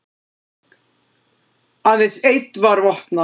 Aðeins einn var vopnaður